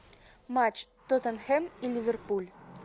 матч тоттенхэм и ливерпуль